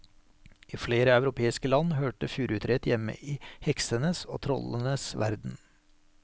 I flere europeiske land hørte furutreet hjemme i heksenes og trollenes verden.